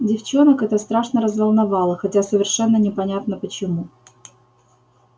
девчонок это страшно разволновало хотя совершенно непонятно почему